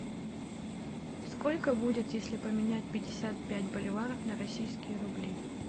сколько будет если поменять пятьдесят пять боливаров на российские рубли